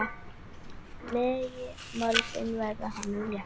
Megi moldin verða honum létt.